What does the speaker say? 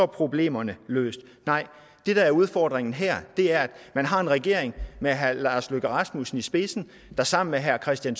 problemerne løst nej det der er udfordringen her er at man har en regering med herre lars løkke rasmussen i spidsen der sammen med herre kristian